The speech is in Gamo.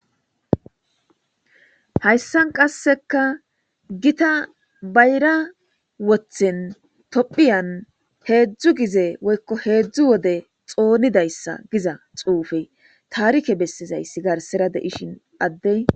Hayssan qasseka gita bayra wothen tophiyan heedzdzu gize woykko heedzdzu wode xoonidayssa giza xuufe taarike bessizayssi garsera de'ishin addey